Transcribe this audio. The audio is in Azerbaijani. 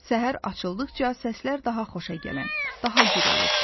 Səhər açıldıqca səslər daha xoşa gələn, daha gür olurdu.